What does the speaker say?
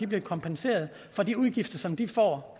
bliver kompenseret for de udgifter som de får